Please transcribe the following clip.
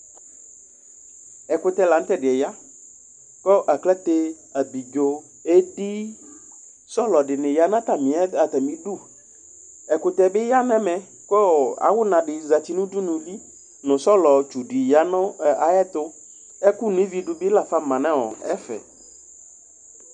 Ɛkʋtɛ la nʋ tʋ ɛdɩ yɛ ya Kʋ aklate, abidzo, edi nʋ sɔlɔ dɩnɩya nʋ atamɩ ɩdʋ Ɛkʋtɛ bɩ ya nʋ ɛmɛ, kʋ awʋna dɩ zǝtɩ nʋ udunu, kʋ sɔlɔtsʋ di ya nʋ ayʋ ɛtʋ Ɛkʋ noividu bɩ lama nʋ ɛfɛ